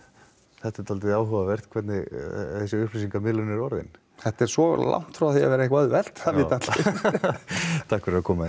þetta er dálítið áhugavert hvernig þessi upplýsingamiðlun er orðin þetta er svo langt frá því að vera eitthvað auðvelt það vita allir takk fyrir að koma hingað